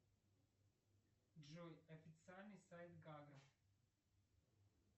джой официальный сайт гавра